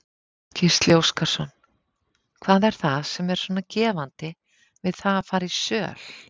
Gísli Óskarsson: Hvað er það sem er svona gefandi við það að fara í söl?